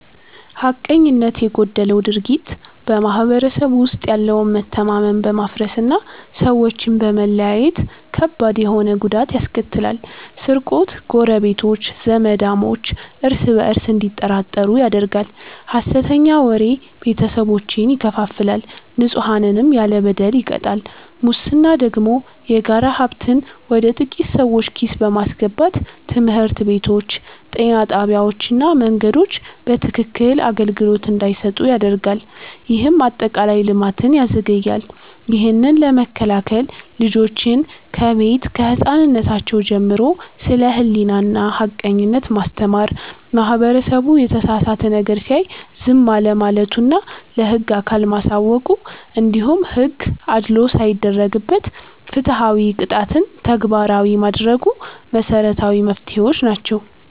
ሐቀኝነት የጎደለው ድርጊት በማህበረሰቡ ውስጥ ያለውን መተማመን በማፍረስና ሰዎችን በመለያየት ከባድ ተሆነ ጉዳት ያስከትላል፤ ስርቆት ጎረቤቶች፣ ዘማዳሞች እርስ በእርስ እንዲጠራጠሩ ያደርጋል፣ ሐሰተኛ ወሬ ቤተሰቦችን ይከፋፍላል፣ ንጹሐንንም ያለ በደል ይቀጣል። ሙስና ደግሞ የጋራ ሀብትን ወደ ጥቂት ሰዎች ኪስ በማስገባት ትምህርት ቤቶች፣ ጤና ጣቢያዎችና መንገዶች በትክክክን አገልግሎት እንዳይሰጡ ያደርጋል፤ ይህም አጠቃላይ ልማትን ያዘገያል። ይህንን ለመከላከል ልጆችን ከቤት ከህፃንነራቸው ጀምሮ ስለ ሕሊናና ሐቀኝነት ማስተማር፣ ማህበረሰቡ የተሳሳተ ነገር ሲያይ ዝም አለማለቱና ለህግ አካል ማሳወቁ፣ እንዲሁም ሕግ አድልዎ ሳይደረግበት ፍትሃዊ ቅጣትን ተግባራዊ ማድረጉ መሰረታዊ መፍትሄዎች ናቸው።